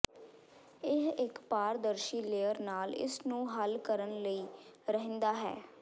ਇਹ ਇੱਕ ਪਾਰਦਰਸ਼ੀ ਲੇਅਰ ਨਾਲ ਇਸ ਨੂੰ ਹੱਲ ਕਰਨ ਲਈ ਰਹਿੰਦਾ ਹੈ